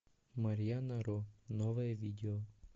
марьяна ро новое видео